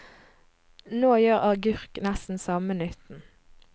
Nå gjør agurk nesten samme nytten.